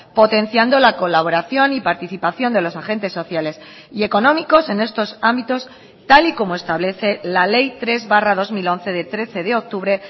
potenciando la colaboración y participación de los agentes sociales y económicos en estos ámbitos tal y como establece la ley tres barra dos mil once de trece de octubre